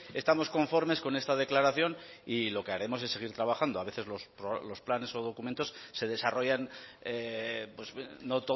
estamos conformes con esta declaración y lo que haremos es seguir trabajando a veces los planes o documentos se desarrollan no